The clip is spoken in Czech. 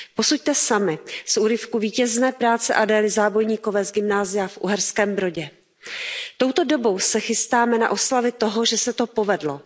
Posuďte sami z úryvku vítězné práce Adély Zábojníkové z gymnázia v Uherském Brodě Touto dobou se chystáme na oslavy toho, že se to povedlo.